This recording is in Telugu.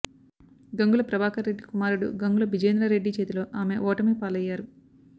గంగుల ప్రభాకర్ రెడ్డి కుమారుడు గంగుల బిజేంద్ర రెడ్డి చేతిలో ఆమె ఓటమి పాలయ్యారు